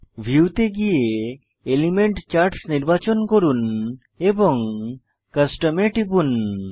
view তে গিয়ে element charts নির্বাচন করুন এবং কাস্টম এ টিপুন